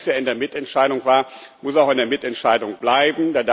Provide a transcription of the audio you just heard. Alles, was bisher in der Mitentscheidung war, muss auch in der Mitentscheidung bleiben.